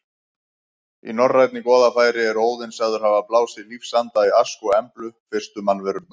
Í norrænni goðafræði er Óðinn sagður hafa blásið lífsanda í Ask og Emblu, fyrstu mannverurnar.